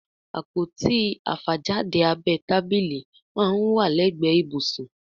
Àpótí àfàjáde abẹ́ tábílì món wá legbe ibusun